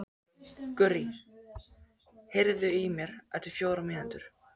Gurrí, heyrðu í mér eftir fjórar mínútur.